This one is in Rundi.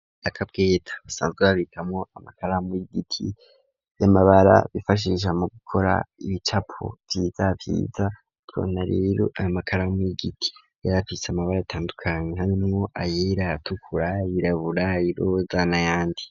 Akabweta basanzwe babikamwo amakaramu y'igiti y'amabara bifashisha mu gukora ibicapo vyiza vyiza tubona rero ayo makaramu y'igiti yarafise amabara atandukanye harimwo ayera ayatukura ayirabura ayiroza na yandi.